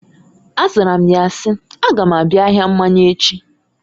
A zara m ya si, "A ga m abịa ahịa mmanya echi."